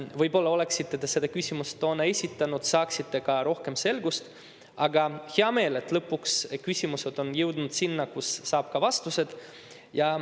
Võib-olla, kui te oleksite selle küsimuse toona esitanud, oleksite saanud ka rohkem selgust, aga mul on hea meel, et lõpuks küsimused on jõudnud sinna, kus saab ka vastused.